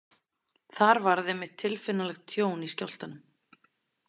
Þar varð einmitt tilfinnanlegt tjón í skjálftanum.